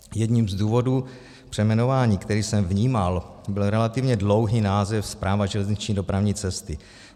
Jedním z důvodů přejmenování, který jsem vnímal, byl relativně dlouhý název Správa železniční dopravní cesty.